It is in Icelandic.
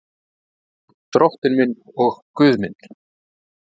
Drottinn minn og Guð minn.